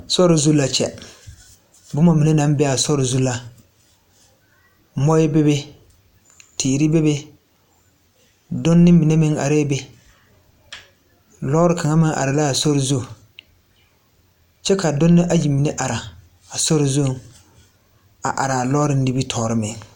Sore zu la kyɛ bomma mine naŋ bee aa sore zu la moɔɛ bebe teere bebe dunne mine meŋ arɛɛ be lɔɔre kaŋa meŋ are laa sore zu kyɛ ka dunne mine ayi mine ara a sore zuŋ a araa lɔɔre nimitoore be.